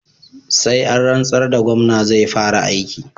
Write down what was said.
Sai an rantsar da Gomna zai fara aiki